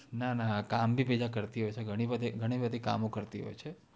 ના ના કામ ભી આ કરતી હોય છે ઘણી બધી કામો કરતી હોય છે